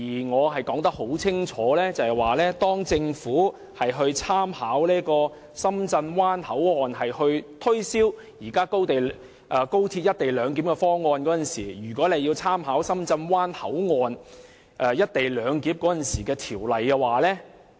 我很清楚指出，當政府以深圳灣口岸推銷現行高鐵"一地兩檢"方案時，便應參考深圳灣口岸"一地兩檢"的條例。